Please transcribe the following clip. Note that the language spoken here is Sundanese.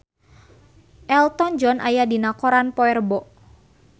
Elton John aya dina koran poe Rebo